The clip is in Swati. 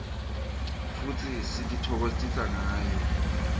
futsi sititfokotisa ngayo